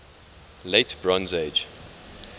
late bronze age